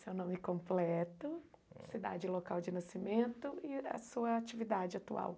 Seu nome completo, cidade e local de nascimento e a sua atividade atual.